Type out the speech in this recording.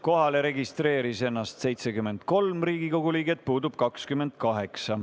Kohalolijaks registreeris ennast 73 Riigikogu liiget, puudub 28.